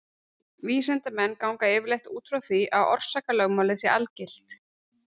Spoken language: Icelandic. Vísindamenn ganga yfirleitt út frá því að orsakalögmálið sé algilt.